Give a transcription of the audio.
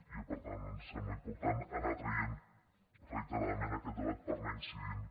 i per tant doncs ens sembla important anar traient reiteradament aquest debat per anar·hi incidint